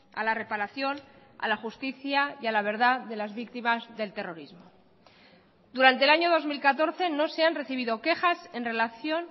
a la reparación a la justicia y a la verdad de las víctimas del terrorismo durante el año dos mil catorce no se han recibido quejas en relación